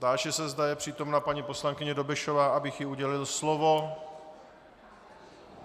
Táži se, zda je přítomna paní poslankyně Dobešová, abych jí udělil slovo?